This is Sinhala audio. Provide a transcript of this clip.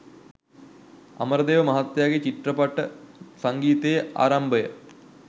අමරදේව මහත්තයාගේ චිත්‍රපට සංගීතයේ ආරම්භය